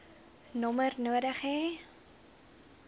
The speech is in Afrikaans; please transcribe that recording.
nommer nodig hê